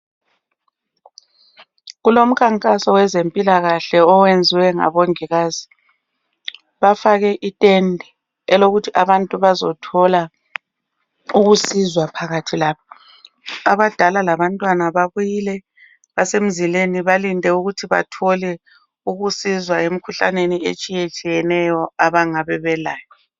Kulomkankaso wezempilakahle oyenziwe ngabongikazi bafake itende elokuthi abantu bazothola ukusizwa phakathi lapha abadala labantwana babuyile basemzileni balinde ukuthi bathole ukusizwa emkhuhlaneni etshiyeneyo abangabe belayo